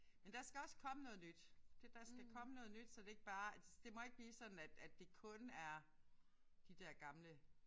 Men der skal også komme noget nyt. Det der skal komme noget nyt så det ikke bare er det må ikke bare blive sådan at at det kun er de der gamle